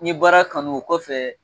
N ye baara kanu o kɔfɛ